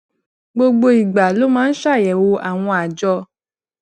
gbogbo ìgbà ló máa ń ṣàyèwò àwọn àjọ